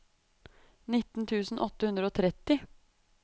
nitten tusen åtte hundre og tretti